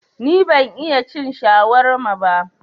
Ni ban iya cin shawarma ba